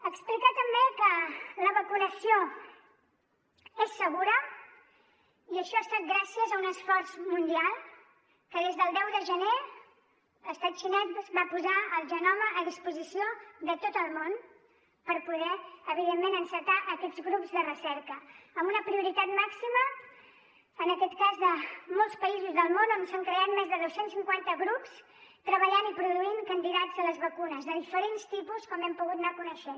explicar també que la vacunació és segura i això ha estat gràcies a un esforç mundial que des del deu de gener l’estat xinès va posar el genoma a disposició de tot el món per poder evidentment encetar aquests grups de recerca amb una prioritat màxima en aquest cas de molts països del món on s’han creat més de dos cents i cinquanta grups que treballen i produeixen candidats a les vacunes de diferents tipus com hem pogut anar coneixent